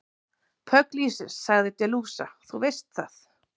Pugliese, sagði De Luca, þú veist það.